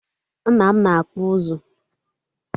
Nna m na-akpụ ụzụ